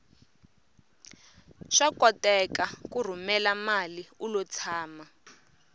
swa koteka ku rhumela mali ulo tshama